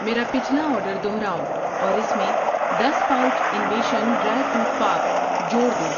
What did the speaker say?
میرا پچھلا آرڈر دوہراؤ اور اس میں دس پاؤچ انویشن ڈرائی فروٹ پاک جوڑ دو۔